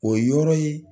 O yɔrɔ ye